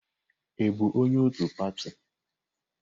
Ị bụ onye otu pati?